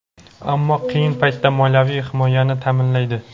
ammo qiyin paytda moliyaviy himoyani ta’minlaydi.